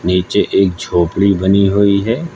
नीचे एक झोपड़ी बनी हुई है।